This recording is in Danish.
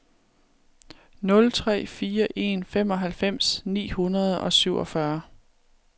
nul tre fire en femoghalvfems ni hundrede og syvogfyrre